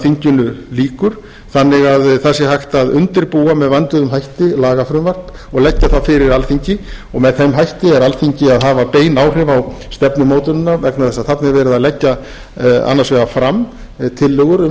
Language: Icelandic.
þinginu lýkur þannig að það sé hægt að undirbúa með vönduðum hætti lagafrumvarp og leggja það fyrir alþingi og með þeim hætti er alþingi að hafa bein áhrif á stefnumótunina vegna þess að þarna er verið að leggja annars vegar fram tillögur um